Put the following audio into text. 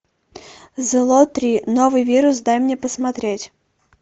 зло три новый вирус дай мне посмотреть